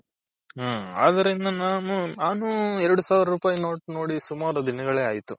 ಹ್ಮ್ ಆದ್ರಿಂದ ನಾನು ನಾನು ಎರಡ್ ಸಾವ್ರುಪಾಯ್ note ನೋಡಿ ಸುಮಾರ್ ದಿನಗಳೇ ಆಯ್ತು.